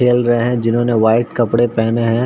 खेल रहे है जिन्होंने व्हाइट कपड़े पहने है|